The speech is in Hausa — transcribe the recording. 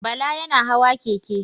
Bala yana hawa keke.